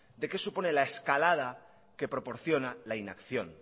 de qué supone la escalada que proporciona la inacción